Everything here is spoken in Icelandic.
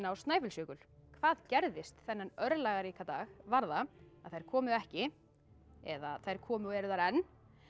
Snæfellsjökul hvað gerðist þennan örlagaríka dag var það þær komu ekki eða þær komu og eru þar enn